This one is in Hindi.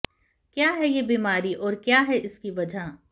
क्या है ये बीमारी और क्या है इसकी वजह